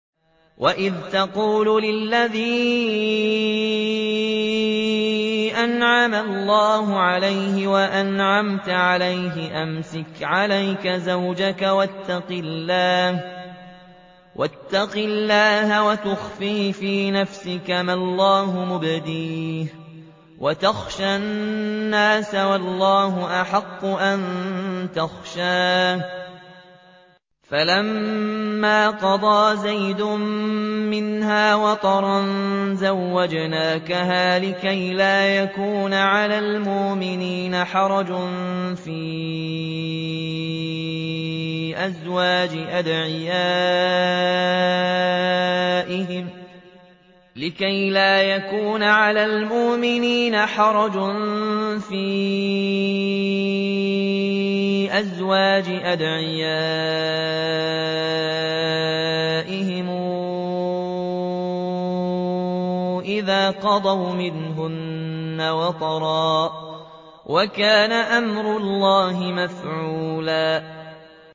وَإِذْ تَقُولُ لِلَّذِي أَنْعَمَ اللَّهُ عَلَيْهِ وَأَنْعَمْتَ عَلَيْهِ أَمْسِكْ عَلَيْكَ زَوْجَكَ وَاتَّقِ اللَّهَ وَتُخْفِي فِي نَفْسِكَ مَا اللَّهُ مُبْدِيهِ وَتَخْشَى النَّاسَ وَاللَّهُ أَحَقُّ أَن تَخْشَاهُ ۖ فَلَمَّا قَضَىٰ زَيْدٌ مِّنْهَا وَطَرًا زَوَّجْنَاكَهَا لِكَيْ لَا يَكُونَ عَلَى الْمُؤْمِنِينَ حَرَجٌ فِي أَزْوَاجِ أَدْعِيَائِهِمْ إِذَا قَضَوْا مِنْهُنَّ وَطَرًا ۚ وَكَانَ أَمْرُ اللَّهِ مَفْعُولًا